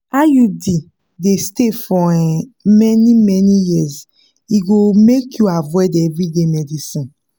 iud dey stay for um many-many years e go make you avoid everyday medicines.